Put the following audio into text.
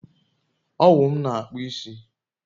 Owụ m na akpụ isi